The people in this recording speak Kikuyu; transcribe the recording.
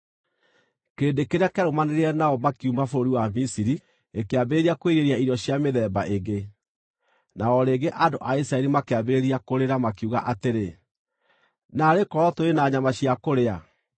Kĩrĩndĩ kĩrĩa kĩarũmanĩrĩire nao makiuma bũrũri wa Misiri gĩkĩambĩrĩria kwĩrirĩria irio cia mĩthemba ĩngĩ, na o rĩngĩ andũ a Isiraeli makĩambĩrĩria kũrĩra, makiuga atĩrĩ, “Naarĩ korwo tũrĩ na nyama cia kũrĩa!